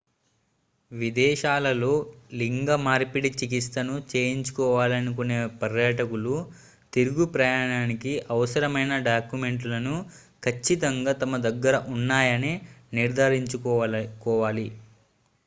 విదేశాలలో లింగ మార్పిడి చికిత్సను చేయించుకోవాలనుకునే పర్యాటకులు తిరుగు ప్రయాణానికి అవసరమైన డాక్యుమెంట్లను ఖచ్చితంగా తమ దగ్గర ఉన్నాయని నిర్ధారించుకోవాలి